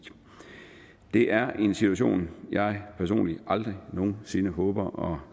det er en situation jeg personligt aldrig nogen sinde håber